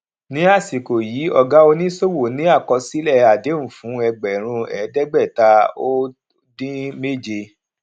ní àsìkò yìí ọgá oníṣòwò ní àkọsílẹ àdéhùn fún ẹgbèrún ẹẹdẹgbẹta ó dín méje